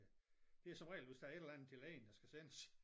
Det som regel hvis der er et eller andet til lægen der skal sendes